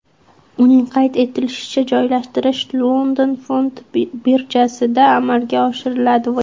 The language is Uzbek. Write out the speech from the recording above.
Uning qayd etishicha, joylashtirish London fond birjasida amalga oshiriladi.